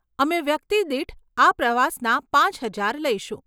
અમે વ્યક્તિદીઠ આ પ્રવાસના પાંચ હજાર લઈશું.